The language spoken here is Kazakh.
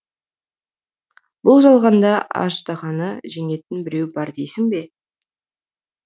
бұл жалғанда аждаһаны жеңетін біреу бар дейсің бе